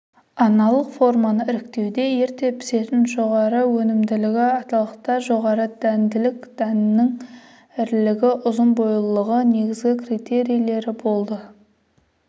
аналық форманы іріктеуде ерте пісетін жоғары өнімділігі аталықта жоғары дәнділік дәннің ірілігі ұзын бойлылығы негізгі критерийлері болды